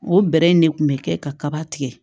O bɛrɛ in ne kun bɛ kɛ kaba tigɛ